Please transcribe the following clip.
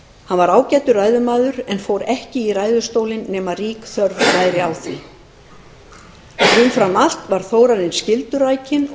hann var ágætur ræðumaður en fór ekki í ræðustólinn nema rík þörf væri á því umfram allt var þórarinn skyldurækinn og